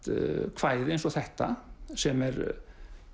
kvæði eins og þetta sem er